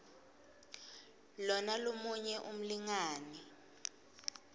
lona lomunye umlingani